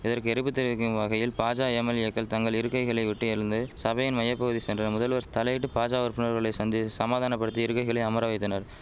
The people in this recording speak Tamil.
இதற்கு எரிப்பு தெரிவிக்கும் வகையில் பாஜ எம்எல்ஏக்கள் தங்கள் இருக்கைகளை விட்டு எழுந்து சபையின் மைய பகுதி சென்ற முதல்வர் தலையிட்டு பாஜ உறுப்பினர்களை சந்தி சமாதானபடுத்தி இருக்கைகளை அமர வைத்தனர்